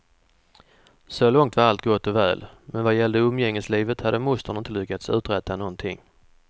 Så långt var allt gott och väl, men vad gällde umgängeslivet hade mostern inte lyckats uträtta någonting.